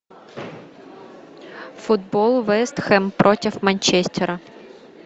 футбол вест хэм против манчестера